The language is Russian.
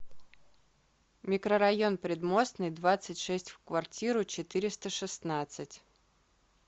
микрорайон предмостный двадцать шесть в квартиру четыреста шестнадцать